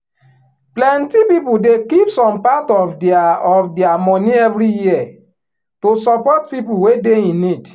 plenty people dey keep some part of dia of dia money every year to support people wey dey in need